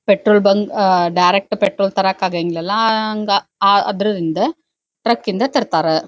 Petrol bunk ಅ direct petrol ತರಕ್ ಆಗಂಗಿಲ್ಲಾ ಹಂಗ್ ಆ ಅದ್ರದಿಂದ ಟ್ರಕ್ ಇಂದ ತರ್ತಾರ.